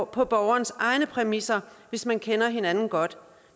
på borgerens egne præmisser hvis man kender hinanden godt